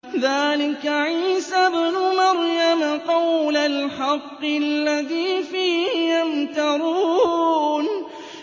ذَٰلِكَ عِيسَى ابْنُ مَرْيَمَ ۚ قَوْلَ الْحَقِّ الَّذِي فِيهِ يَمْتَرُونَ